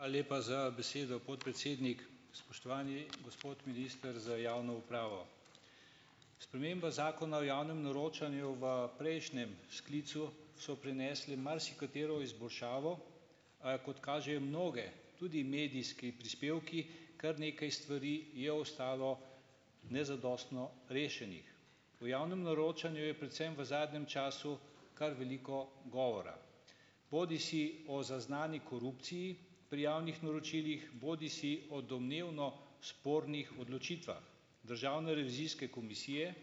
Hvala lepa za besedo, podpredsednik. Spoštovani gospod minister za javno upravo! Sprememba zakona o javnem naročanju v prejšnjem sklicu so prinesle marsikatero izboljšavo, a kot kažejo mnoge, tudi medijski prispevki, kar nekaj stvari je ostalo nezadostno rešenih. V javnem naročanju je predvsem v zadnjem času kar veliko govora, bodisi o zaznani korupciji pri javnih naročilih, bodisi o domnevno spornih odločitvah Državne revizijske komisije,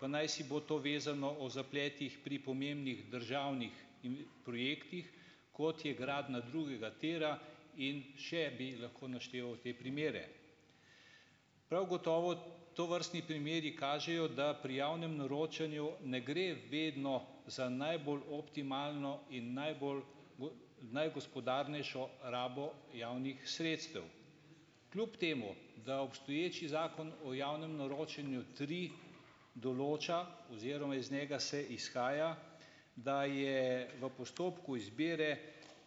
pa najsibo to vezano o zapletih pri pomembnih državnih in projektih, kot je gradnja drugega tira, in še bi lahko našteval te primere. Prav gotovo tovrstni primeri kažejo, da pri javnem naročanju ne gre vedno za najbolj optimalno in najbolj najgospodarnejšo rabo javnih sredstev. Kljub temu da obstoječi zakon o javnem naročanju tri določa oziroma iz njega se izhaja, da je v postopku izbire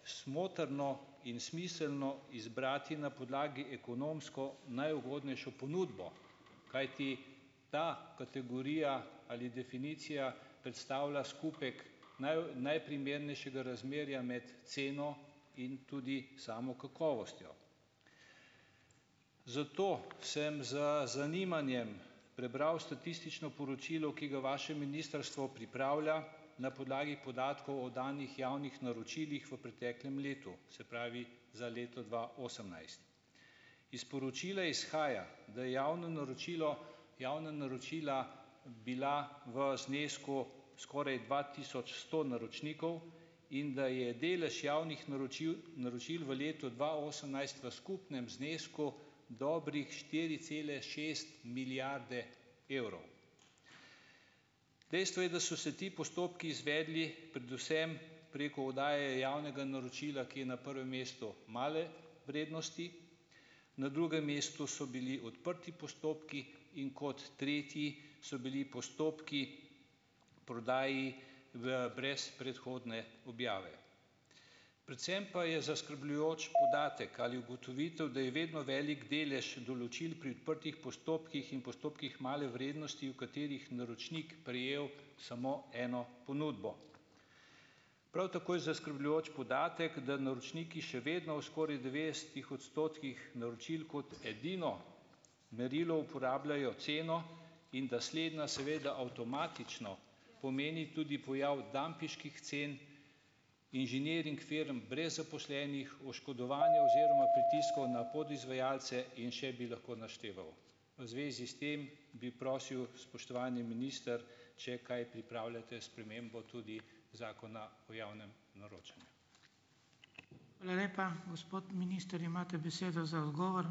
smotrno in smiselno izbrati na podlagi ekonomsko najugodnejšo ponudbo. Kajti ta kategorija ali definicija predstavlja skupek najprimernejšega razmerja med ceno in tudi samo kakovostjo. Zato sem z zanimanjem prebral statistično poročilo, ki ga vaše ministrstvo pripravlja na podlagi podatkov o danih javnih naročilih v preteklem letu, se pravi za leto dva osemnajst. Iz poročila izhaja, da javno naročilo javna naročila bila v znesku skoraj dva tisoč sto naročnikov in da je delež javnih naročiv naročil v letu dva osemnajst v skupnem znesku dobrih štiri cele šest milijarde evrov. Dejstvo je, da so se ti postopki izvedli predvsem preko oddaje javnega naročila, ki je na prvem mestu male vrednosti. Na drugem mestu so bili odprti postopki. In kot tretji so bili postopki prodaji v brez predhodne objave. Predvsem pa je zaskrbljujoč podatek ali ugotovitev, da je vedno velik delež določil pri odprtih postopkih in postopkih male vrednosti, v katerih naročnik prejel samo eno ponudbo. Prav tako je zaskrbljujoč podatek, da naročniki še vedno v skoraj devetdesetih odstotkih naročil kot edino merilo uporabljajo ceno in da slednja, seveda, avtomatično pomeni tudi pojav dampinških cen inženiring firm brez zaposlenih, oškodovanja oziroma pritiskov na podizvajalce in še bi lahko našteval. V zvezi s tem bi prosil, spoštovani minister, če kaj pripravljate spremembo tudi Zakona o javnem naročanju.